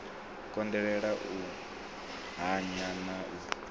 konḓelela u hanya na u